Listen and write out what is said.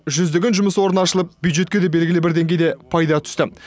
жүздеген жұмыс орны ашылып бюджетке де белгілі бір деңгейде пайда түсті